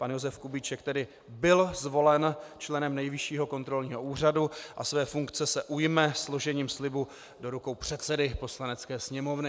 Pan Josef Kubíček tedy byl zvolen členem Nejvyššího kontrolního úřadu a své funkce se ujme složením slibu do rukou předsedy Poslanecké sněmovny.